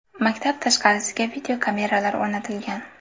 Maktab tashqarisiga videokameralar o‘rnatilgan.